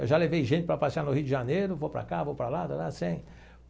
Eu já levei gente para passear no Rio de Janeiro, vou para cá, vou para lá.